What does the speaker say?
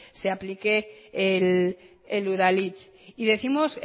se aplique el udalhitz y décimos